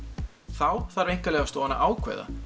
þá þarf Einkaleyfastofan að ákveða